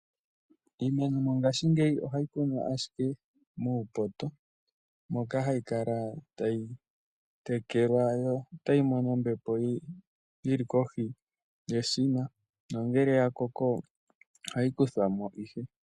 Iimeno ngaashingeyi ohayi kunwa ashike muupoto moka tayi kala tayi tekelwa yo otayi mono ombepo yili kohi yeshina nongele ya koko ohayi kuthwamo ihe.